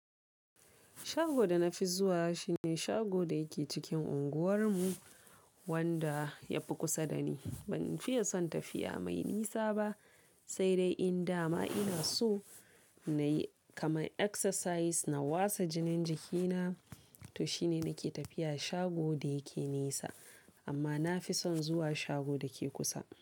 Shago da na fi zuwa shine shago da yake cikin unguwarmu wanda ya fi kusa da ni. Ban fiye son tafiya mai nisa ba, sai dai in dama ina so nayi kamar exercise na wasa jinin jikina to shine nake tafiya shago da yake nesa. Amma na fi son zuwa shago da ke kusa.